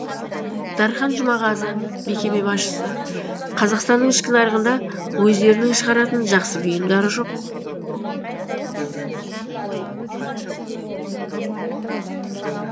дархан жұмағазы мекеме басшысы қазақстанның ішкі нарығында өздерінің шығаратын жақсы бұйымдары жоқ